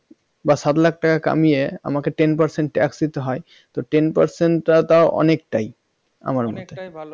বা সাত লাখ টাকা কামিয়ে আমাকে ten percent TAX দিতে হয় তো ten percent অনেকটাই আমার মতে